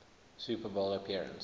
super bowl appearance